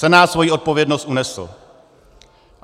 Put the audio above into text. Senát svoji odpovědnost unesl.